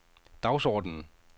dagsordenen